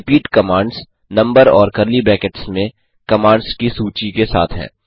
repeat commands number और curly brackets में commands की सूची के साथ है